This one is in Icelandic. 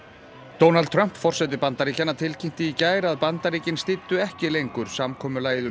Donald Trump forseti Bandaríkjanna tilkynnti í gær að að Bandaríkin styddu ekki lengur samkomulagið um